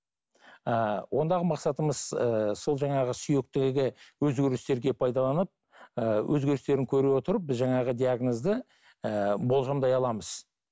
ііі ондағы мақсатымыз ыыы сол жаңағы сүйектегі өзгерістерге пайдаланып ыыы өзгерістерін көре отырып біз жаңағы диагнозды ііі болжамдай аламыз